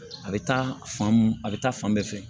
A bɛ taa fan mun a bɛ taa fan bɛɛ fɛ